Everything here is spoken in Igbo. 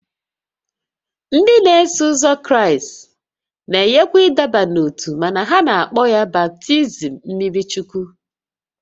Ndị n'eso ụzọ Kraịst na-enyekwa ịdọba n'ótú mana ha na-akpọ ya baptizim mmiri Chukwu